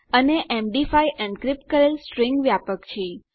અને MD five encrypt કરેલ string વ્યાપક છે